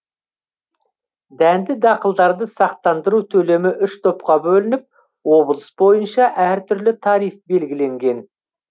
дәнді дақылдарды сақтандыру төлемі үш топқа бөлініп облыс бойынша әртүрлі тариф белгіленген